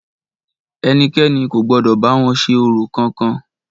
Ẹnikẹ́ni kò gbọdọ̀ bá wọn ṣe orò kankan!